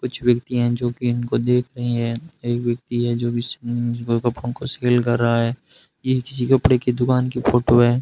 कुछ व्यक्ति हैं जो कि इनको देख रही हैं एक व्यक्ति है जो बिछे हुए कपड़ों को सेल कर रहा है यह किसी कपड़े की दुकान की फोटो है।